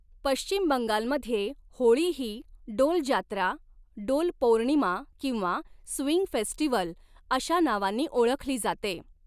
पश्चिम बंगालमध्ये होळी ही 'डोल जात्रा', 'डोल पौर्णिमा' किंवा 'स्विंग फेस्टिव्हल' अशा नावांनी ओळखली जाते.